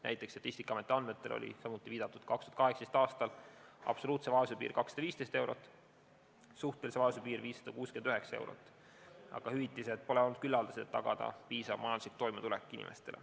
Näiteks Statistikaameti andmetel oli juba viidatud 2018. aastal absoluutse vaesuse piir 215 eurot ja suhtelise vaesuse piir 569 eurot ning hüvitised pole olnud küllaldased, et tagada inimestele piisav majanduslik toimetulek.